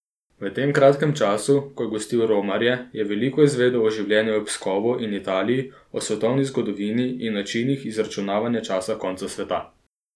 V tem kratkem času, ko je gostil romarja, je veliko izvedel o življenju v Pskovu in Italiji, o svetovni zgodovini in načinih izračunavanja časa konca sveta.